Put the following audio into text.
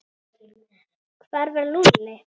Hvar var Lúlli?